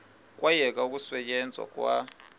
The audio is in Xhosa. kwayekwa ukusetyenzwa kwa